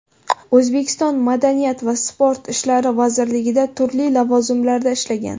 O‘zbekiston Madaniyat va sport ishlari vazirligida turli lavozimlarda ishlagan.